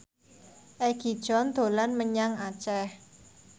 Egi John dolan menyang Aceh